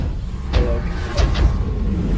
Eða öll lætin á götunum!